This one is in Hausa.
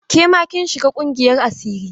Ke ma kin shiga ƙungiyar asiri?